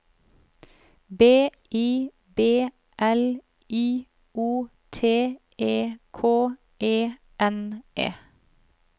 B I B L I O T E K E N E